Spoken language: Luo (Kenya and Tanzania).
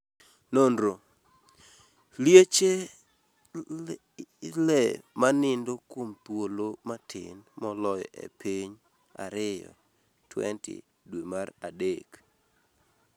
Nonro: Liech e le ma nindo kuom thuolo matin moloyo e piny2 20 dwe mar adek